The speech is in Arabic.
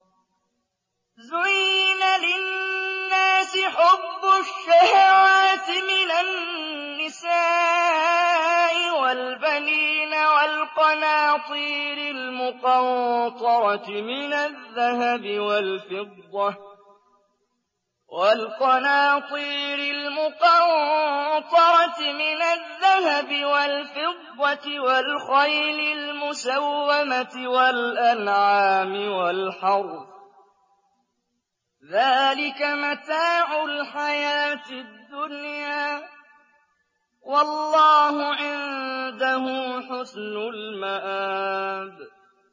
زُيِّنَ لِلنَّاسِ حُبُّ الشَّهَوَاتِ مِنَ النِّسَاءِ وَالْبَنِينَ وَالْقَنَاطِيرِ الْمُقَنطَرَةِ مِنَ الذَّهَبِ وَالْفِضَّةِ وَالْخَيْلِ الْمُسَوَّمَةِ وَالْأَنْعَامِ وَالْحَرْثِ ۗ ذَٰلِكَ مَتَاعُ الْحَيَاةِ الدُّنْيَا ۖ وَاللَّهُ عِندَهُ حُسْنُ الْمَآبِ